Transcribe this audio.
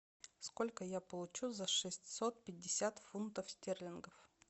сколько я получу за шестьсот пятьдесят фунтов стерлингов